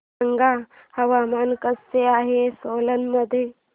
सांगा हवामान कसे आहे सोलान मध्ये